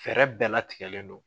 Fɛɛrɛ bɛɛ latigɛlen don.